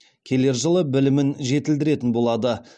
келер жылы білімін жетілдіретін болады